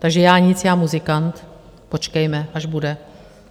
Takže já nic, já muzikant, počkejme, až bude.